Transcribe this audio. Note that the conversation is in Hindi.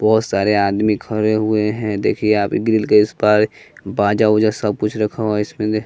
बहुत सारे आदमी खड़े हुए हैं देखिए यहां पे ग्रिल के इस पार बाजा वाजा सब कुछ रखा हुआ इसमें से--